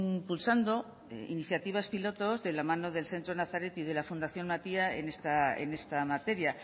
impulsando iniciativas piloto de la mano del centro nazaret de la fundación matia en esta materia